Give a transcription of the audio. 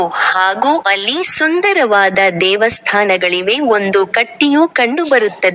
ಹಾಗೂ ಅಲ್ಲಿ ಸುಂದರವಾದ ದೇವಸ್ಥಾನಗಳಿವೆ ಒಂದು ಕಟ್ಟಿಯೂ ಕಂಡು ಬರುತ್ತದೆ.